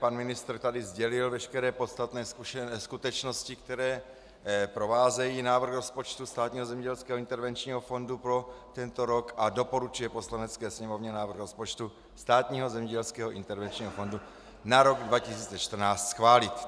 Pan ministr tady sdělil veškeré podstatné skutečnosti, které provázejí návrh rozpočtu Státního zemědělského intervenčního fondu pro tento rok, a doporučuje Poslanecké sněmovně návrh rozpočtu Státního zemědělského intervenčního fondu na rok 2014 schválit.